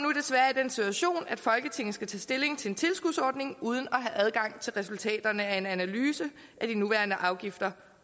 i den situation at folketinget skal tage stilling til en tilskudsordning uden at have adgang til resultaterne af en analyse af de nuværende afgifter